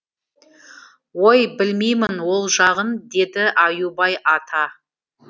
ой білмеймін ол жағын деді аюбай ата